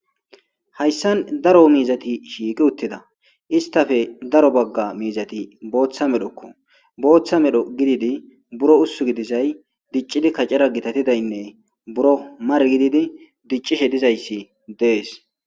hayssan daro miizati shiiqi uttida istafe daro bagga miizati booththa medhokko booththa medho gididi buro ussu gidizay diccidi kacara gitatidaynne buro mar gididi diccishe dizayssi dees